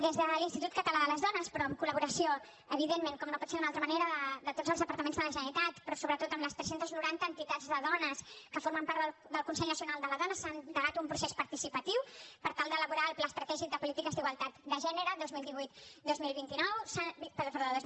des de l’institut català de les dones però en col·laboració evidentment com no pot ser d’una altra manera de tots els departaments de la generalitat però sobretot amb les tres cents i noranta entitats de dones que formen part del consell nacional de la dona s’ha endegat un procés participatiu per tal d’elaborar el pla estratègic de polítiques d’igualtat de gènere dos mil divuit dos mil vint dos